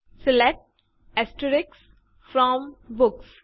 select from books